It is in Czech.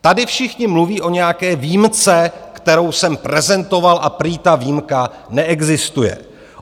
Tady všichni mluví o nějaké výjimce, kterou jsem prezentoval, a prý ta výjimka neexistuje.